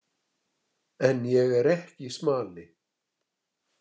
En ég er ekki smali.